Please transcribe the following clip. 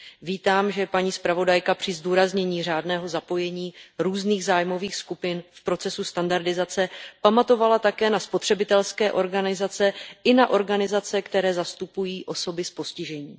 Vítám, že paní zpravodajka při zdůraznění řádného zapojení různých zájmových skupin v procesu standardizace pamatovala také na spotřebitelské organizace i na organizace, které zastupují osoby s postižením.